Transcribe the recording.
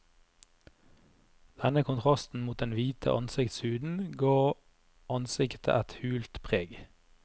Denne kontrasten mot den hvite ansiktshuden gav ansiktet et hult preg.